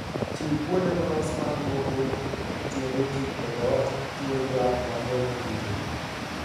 Chiw kuonde molos mag lwoko tiende ji e dhoot kitiyo gi yath ma geng'o kute.